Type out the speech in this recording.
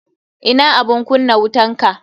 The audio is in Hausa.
Ina abun kunna wutanka.